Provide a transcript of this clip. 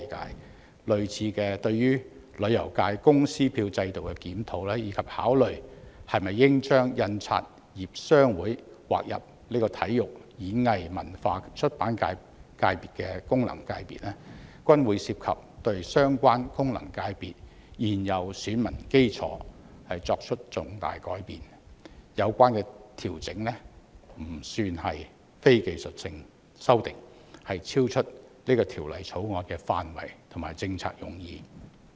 同樣地，對於旅遊界功能界別公司票制度的檢討，以及考慮是否應將香港印刷業商會劃分入體育、演藝、文化及出版界功能界別，均會涉及對相關功能界別現有選民基礎作出重大改變，有關調整非技術性修訂，超出《條例草案》的範圍和政策用意。